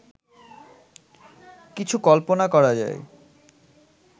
কিছু কল্পনা করা যায়